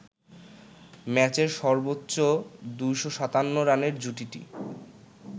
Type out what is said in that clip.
ম্যাচের সর্বোচ্চ ২৫৭ রানের জুটিটি